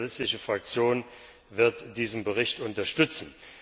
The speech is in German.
Die sozialistische Fraktion wird diesen Bericht unterstützen.